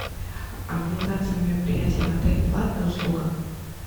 организация мероприятий в отеле платная услуга